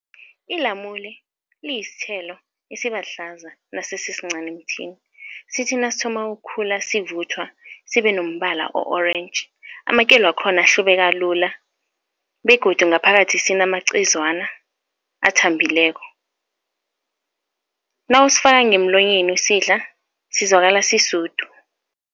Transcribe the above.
Ilamule liyisithelo esibahlaza nasisincani emthini, sithi nasithoma ukukhula sivuthwa sibe nombala o-orange. Amakelo wakhona ahlubeka lula begodu ngaphakathi sinamacezwana athambileko. Nawusifaka ngemlonyeni usidla, sizwakala sisudu.